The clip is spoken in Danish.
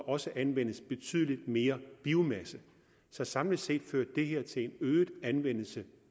også anvendes betydelig mere biomasse så samlet set førte det her til en øget anvendelse